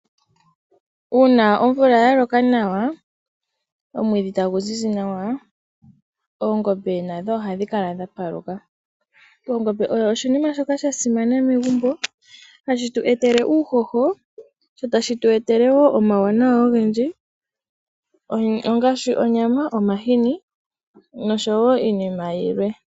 Uuna omvula yaloka nawa omwiidhi etagu zizi nawa oongombe nadho ohadhi kala dha paluka. Ongombe oyo oshinima shoka sha simana megumbo, hashi tu etele uuhoho, sho tashi tu etele woo omauwanawa ogendji, ongaashi onyama, omahini nosho wo iinima yilwe.